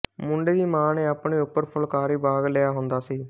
ਮੁੰਡੇ ਦੀ ਮਾਂ ਨੇ ਆਪਣੇ ਉੱਪਰ ਫੁਲਕਾਰੀ ਬਾਗ਼ ਲਿਆ ਹੁੰਦਾ ਸੀ